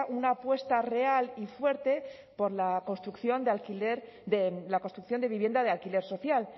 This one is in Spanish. una apuesta real y fuerte por la construcción de vivienda de alquiler social